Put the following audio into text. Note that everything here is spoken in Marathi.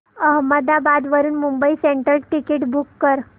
अहमदाबाद वरून मुंबई सेंट्रल टिकिट बुक कर